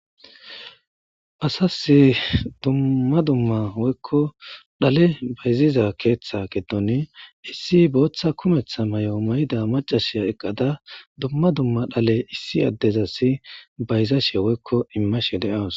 Asas dummaa dumma woyko dhale bayzizaysa gidoni issi bootha kumetha mayo mayida maccasiya duma duma dhale adezas imashe woyko bayzashe daws